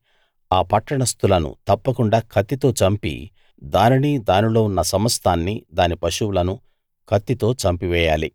ఆ పట్టణస్తులను తప్పకుండా కత్తితో చంపి దానినీ దానిలో ఉన్న సమస్తాన్నీ దాని పశువులనూ కత్తితో చంపివేయాలి